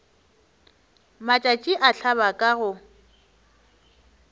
matšatši a hlaba ka go